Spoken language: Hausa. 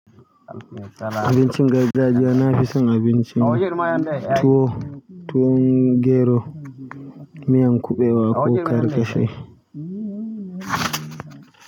Abincin gargajiya na fison abinci ne. Tuwo, tuwon gero, miyan kuɓewa ko karkashe.